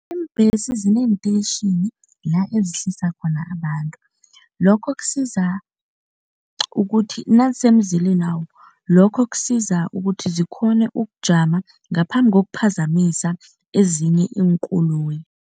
Imbhesi zinenteyitjhini endawo la ezihlisa khona abantu. Lokho kusiza ukuthi nazisemzileni wawo, lokho kusiza ukuthi zikghone ukujama ngaphambi kokuphazamisa ezinye iinkoloyi.